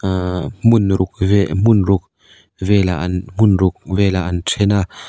ahh hmun ruk ve hmun ruk vel ah an hmun ruk vel ah an then a.